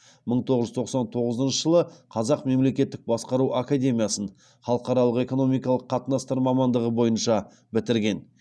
мың тоғыз жүз тоқсан тоғызыншы жылы қазақ мемлекеттік басқару академиясын халықаралық экономикалық қатынастар мамандығы бойынша бітірген